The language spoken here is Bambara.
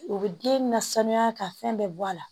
U bɛ den na sanuya ka fɛn bɛɛ bɔ a la